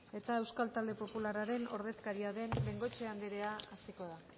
eta euskal talde popularraren ordezkaria den bengoechea anderea hasiko da